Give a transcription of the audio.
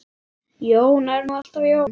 Jón er nú alltaf Jón.